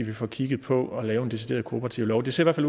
vi får kigget på at lave en decideret kooperativlov det ser i